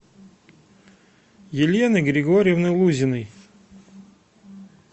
елены григорьевны лузиной